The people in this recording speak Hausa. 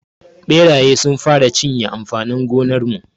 Ɓeraye sun fara cinye amfanin gonar mu.